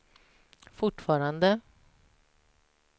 fortfarande